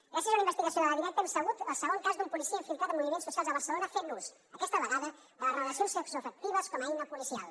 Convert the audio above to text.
gràcies a una investigació de la directa hem sabut el segon cas d’un policia infiltrat en moviments socials a barcelona fent ús aquesta vegada de les relacions sexoafectives com a eina policial